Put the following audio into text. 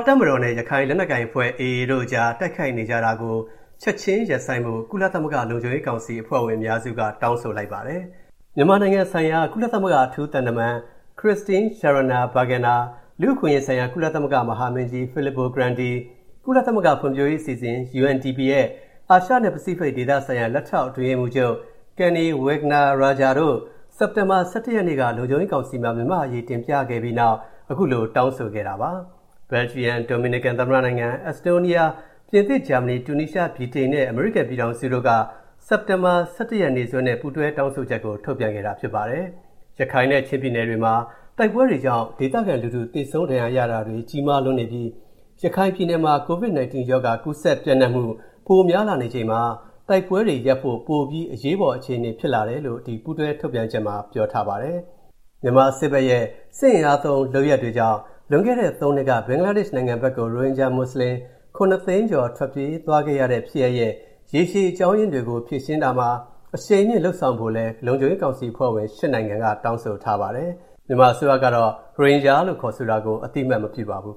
တပ်မတော်နဲ့ ရခိုင်လက်နက်ကိုင်အဖွဲ့ (AA) တို့အကြား တိုက်ခိုက်နေကြတာကို ချက်ချင်းရပ်ဆိုင်းဖို့ ကုလသမဂ္ဂ လုံခြုံရေးကောင်စီအဖွဲ့ဝင် အများစုက တောင်းဆိုလိုက်ကြပါတယ်။ မြန်မာနိုင်ငံဆိုင်ရာ ကုလသမဂ္ဂ အထူးသံတမန် Christine Schraner Burgener၊ လူ့အခွင့်အရေးဆိုင်ရာ ကုလသမဂ္ဂ မဟာမင်းကြီး Filippo Grandi၊ ကုလသမဂ္ဂ ဖွံ့ဖြိုးတိုးတက်ရေးအစီအစဉ် (UNDP) ရဲ့ အာရှနဲ့ ပစိဖိတ်ဒေသဆိုင်ရာ လက်ထောက်အတွင်းရေးမှူးချုပ် Kanni Wignaraja တို့ စက်တင်ဘာလ ၁၁ ရက်နေ့က လုံခြုံရေးကောင်စီမှာ မြန်မာ့အရေး တင်ပြပြောဆိုခဲ့ကြပြီးတဲ့နောက် အခုလို တောင်းဆိုလိုက်တာပါ။ ဘယ်လ်ဂျီယံ၊ ဒိုမီနီကန်သမ္မတနိုင်ငံ၊ အက်စ်တိုးနီးယား၊ ပြင်သစ်၊ ဂျာမနီ၊ တူနီးရှား၊ ဗြိတိန်နဲ့ အမေရိကန်ပြည်ထောင်စုတို့က စက်တင်ဘာလ ၁၁ ရက်နေ့စွဲနဲ့ ပူးတွဲတောင်းဆိုချက် ထုတ်ပြန်ခဲ့တာ ဖြစ်ပါတယ်။ ရခိုင်နဲ့ ချင်းပြည်နယ်တွေမှာ တိုက်ပွဲတွေကြောင့် ဒေသခံလူထု သေဆုံး ဒဏ်ရာရတာတွေ ကြီးမားလွန်းနေပြီး ရခိုင်ပြည်နယ်မှာ COVID-19 ရောဂါ ကူးစက်ပျံ့နှံ့မှု ပိုများလာနေချိန်မှာ တိုက်ပွဲတွေရပ်ဖို့ ပိုပြီး အရေးပေါ်အခြေအနေ ဖြစ်လာတယ်လို့ ပူးတွဲထုတ်ပြန်ချက်မှာ ပြောထားပါတယ်။ မြန်မာစစ်ဘက်ရဲ့ အင်အားသုံး လုပ်ရပ်တွေကြောင့် လွန်ခဲ့တဲ့သုံးနှစ်က ဘင်္ဂလားဒေ့ရှ်နိုင်ငံဘက်ကို ရိုဟင်ဂျာမွတ်စလင် ၇၀၀,၀၀၀ ကျော် ထွက်ပြေးသွားခဲ့ရတဲ့ ဖြစ်ရပ်ရဲ့ ရေရှည်အကြောင်းရင်းတွေကို ဖြေရှင်းတာမှာ အရှိန်မြှင့် လုပ်ဆောင်ဖို့လည်း လုံခြုံရေးကောင်စီအဖွဲ့ဝင် ၈ နိုင်ငံက တောင်းဆိုထားပါတယ်။ မြန်မာအစိုးရကတော့ ရိုဟင်ဂျာလို့ ခေါ်ဆိုတာကို အသိအမှတ် မပြုပါဘူး